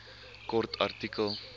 kort artikel